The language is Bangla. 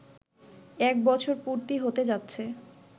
এক বছর পূর্তি হতে যাচ্ছে